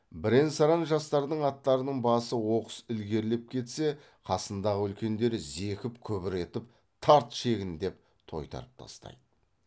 бірен саран жастардың аттарының басы оқыс ілгерілеп кетсе қасындағы үлкендері зекіп күбір етіп тарт шегін деп тойтарып тастайды